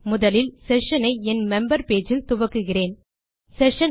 முதலில் செஷன் ஐ என் மெம்பர் பேஜ் இல் துவக்குகிறேன்